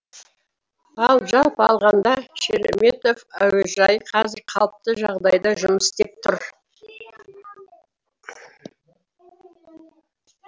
ал жалпы алғанда шереметьево әуежайы қазір қалыпты жағдайда жұмыс істеп тұр